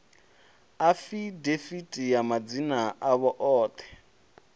afidaviti ya madzina avho oṱhe